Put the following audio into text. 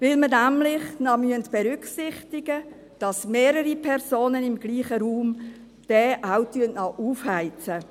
Denn wir müssen nämlich noch berücksichtigen, dass mehrere Personen im selben Raum diesen auch noch aufheizen.